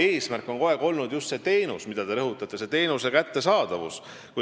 Eesmärk on kogu aeg olnud just selle teie rõhutatud teenuse kättesaadavus.